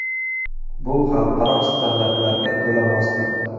Bu xalqaro standartlarga to‘la mosdir.